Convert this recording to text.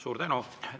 Suur tänu!